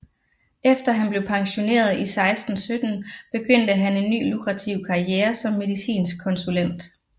Efter han blev pensioneret i 1617 begyndte han en ny lukrativ karriere som medicinsk konsulent